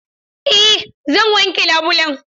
Eh zan wanke labulen.